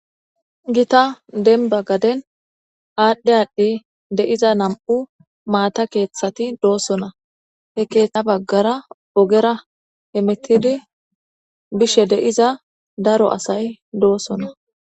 gita denba gaden aadhdhe adhdhi de'iza nam'u maata keeththati doosona he keeththa baggara ogera hemettidi bishe de'iza daro asay doosona